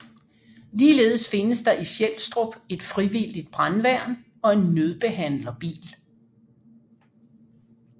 Ligeledes findes der i Fjelstrup et frivilligt brandværn og en nødbehandlerbil